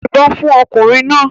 Yìnbọn fún ọkùnrin náà!